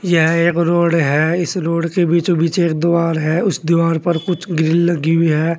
यह एक रोड है इस रोड के बीचों बीच एक द्वार है उस दीवार पर कुछ ग्रिल लगी हुई है।